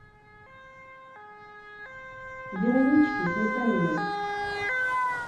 вероничке сметаниной